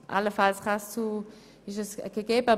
Allenfalls ist eine solche gegeben.